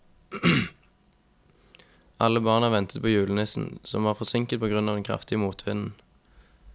Alle barna ventet på julenissen, som var forsinket på grunn av den kraftige motvinden.